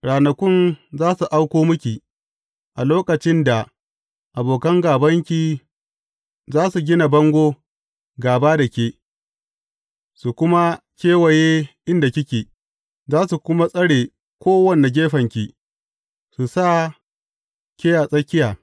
Ranakun za su auko miki, a lokacin da abokan gābanki za su gina bango gāba da ke, su kuma kewaye inda kike, za su kuma tsare kowane gefenki, su sa ke a tsakiya.